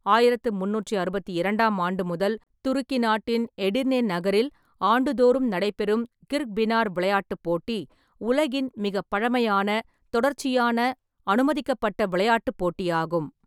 ஆயிரத்து முந்நூற்றி அறுபத்தி இரண்டாம் ஆண்டு முதல் துருக்கி நாட்டின் எடிர்னே நகரில் ஆண்டுதோறும் நடைபெறும் கிர்க்பினார் விளையாட்டுப் போட்டி, உலகின் மிகப் பழமையான தொடர்ச்சியான, அனுமதிக்கப்பட்ட விளையாட்டுப் போட்டியாகும்.